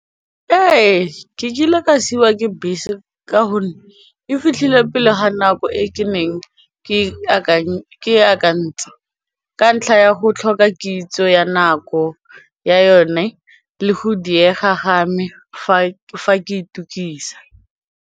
Ee, ke kile ka siwa ke bese ka gonne e fitlhile pele ga nako e ke neng ke akantsha ka ntlha ya go tlhoka kitso ya nako ya yone le go diega ga me fa ke itukisa.